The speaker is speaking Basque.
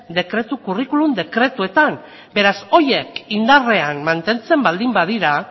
curriculum dekretuetan beraz horiek indarrean mantentzen baldin badira